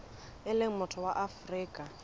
e leng motho wa afrika